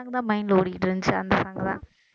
song தான் mind ல ஓடிக்கிட்டு இருந்துச்சு அந்த song தான்